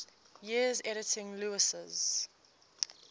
years editing lewes's